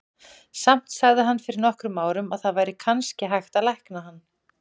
Samt sagði hann fyrir nokkrum árum að það væri kannski hægt að lækna hann.